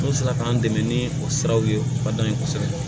N'u sera k'an dɛmɛ ni o siraw ye u ka dɔnni kosɛbɛ